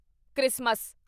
Christmas